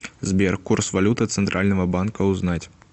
сбер курс валюты центрального банка узнать